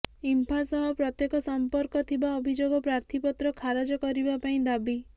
ଇମ୍ଫା ସହ ପ୍ରତ୍ୟେକ୍ଷ ସମ୍ପର୍କ ଥିବା ଅଭିଯୋଗ ପ୍ରାର୍ଥୀପତ୍ର ଖାରଜ କରିବା ପାଇଁ ଦାବି